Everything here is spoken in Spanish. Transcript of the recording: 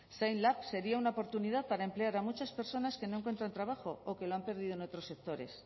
zainlab sería una oportunidad para emplear a muchas personas que no encuentran trabajo o que lo han perdido en otros sectores